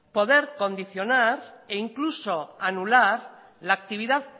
poder condicionar e incluso anular la actividad